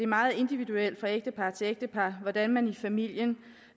meget individuelt fra ægtepar til ægtepar hvordan man i familien